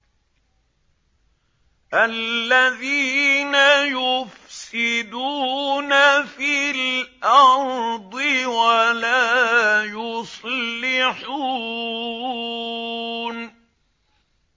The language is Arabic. الَّذِينَ يُفْسِدُونَ فِي الْأَرْضِ وَلَا يُصْلِحُونَ